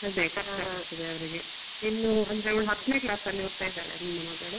ಅದೇ ಕಷ್ಟ ಆಗ್ತದೆ ಅವ್ರಿಗೆ ಇನ್ನು ಅಂದ್ರೆ ಅವ್ಳು ಹತ್ನೆ class ಅಲ್ಲಿ ಓದ್ತಾ ಇದ್ದಾಳೆ ನನ್ನ ಮಗಳು.